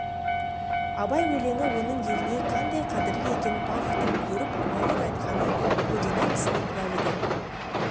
абай өлеңі оның еліне қандай қадірлі екенін павловтың көріп куәлік айтқаны көлденең кісінің куәлігі